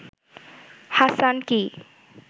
Hasan কী